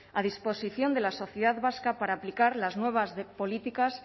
a disposición de la sociedad vasca para aplicar las nuevas políticas